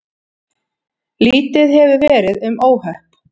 Lítið hefur verið um óhöpp